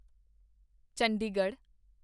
Chandigarh